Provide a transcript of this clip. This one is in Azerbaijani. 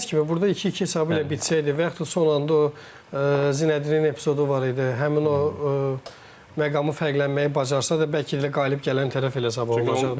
Dedi ki, burda 2-2 hesabı ilə bitsəydi və yaxud da son anda o Zineddinin epizodu var idi, həmin o məqamı fərqlənməyi bacarsa da bəlkə də elə qalib gələn tərəf elə Sabah olmayacaqdı.